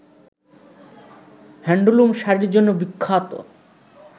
handloom শাড়ির জন্য বিখ্যাত